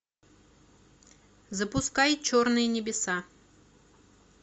запускай черные небеса